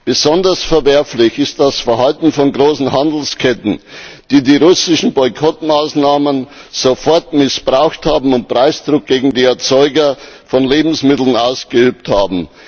Besonders verwerflich ist das Verhalten von großen Handelsketten, die die russischen Boykottmaßnahmen sofort missbraucht haben und Preisdruck gegen die Erzeuger von Lebensmitteln ausgeübt haben.